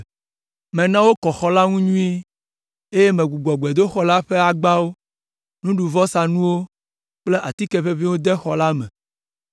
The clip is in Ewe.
Mena wokɔ xɔ la ŋu nyuie, eye megbugbɔ gbedoxɔ la ƒe agbawo, nuɖuvɔsanuwo kple atike ʋeʋĩwo de xɔ la me.